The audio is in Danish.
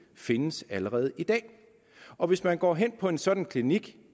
findes allerede i dag og hvis man går hen på en sådan klinik